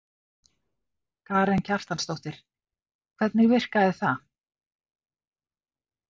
Karen Kjartansdóttir: Hvernig virkaði það?